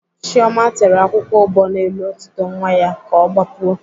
Chioma tere akwụkwọ ụbọ n'elu otito nwa ya ka ọ gbapuo